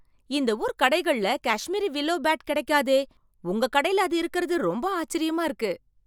இந்த ஊர் கடைகள்ல காஷ்மீரி வில்லோ பேட் கிடைக்காதே. உங்க கடையில அது இருக்கிறது ரொம்ப ஆச்சரியமா இருக்கு.